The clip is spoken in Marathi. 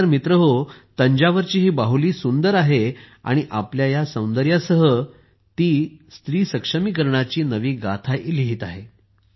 खरे तर मित्रहो तंजावरची ही बाहुली सुंदर आहे आणि आपल्या या सौंदर्यासह ती स्त्री सक्षमीकरणाची नवी गाथाही लिहित आहे